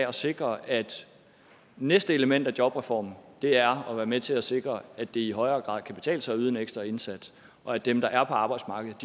at sikre at næste element af jobreformen er at være med til at sikre at det i højere grad kan betale sig at yde en ekstra indsats og at dem der er på arbejdsmarkedet